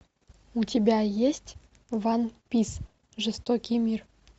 у тебя есть ван пис жестокий мир